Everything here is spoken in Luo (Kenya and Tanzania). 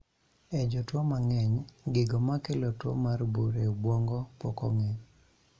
E jotuo mang'eny, gigo makelo tuo mar bur e obwongo pok ong'e